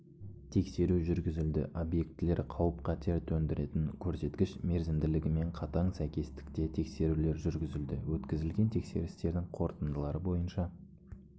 тексеру жүргізілді объектілер қауіп-қатер төндіретін көрсеткіш мерзімділігімен қатаң сәйкестікте тексерулер жүргізілді өткізілген тексерістердің қорытындылары бойынша